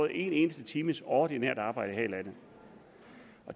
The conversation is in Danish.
en eneste times ordinært arbejde her i landet